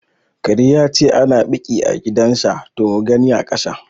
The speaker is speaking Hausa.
Kare yace ana ɓiƙi gidan sa to mugani aƙasa